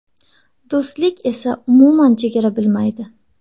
Do‘stlik esa umuman chegara bilmaydi!